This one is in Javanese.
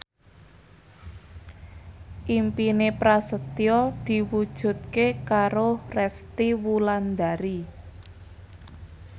impine Prasetyo diwujudke karo Resty Wulandari